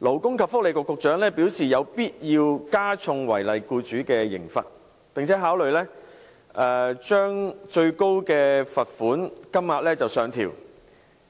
勞工及福利局局長表示有必要加重違例僱主的刑罰，並且考慮將最高罰款金額上調